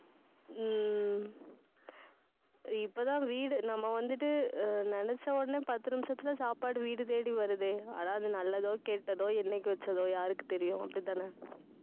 உம் இப்பதான் வீடு, நம்ம வந்துட்டு அஹ் நினைச்ச உடனே பத்து நிமிஷத்துல சாப்பாடு வீடு தேடி வருதே, அதாவது நல்லதோ, கெட்டதோ என்னைக்கு வெச்சதோ, யாருக்கு தெரியும் அப்படித்தான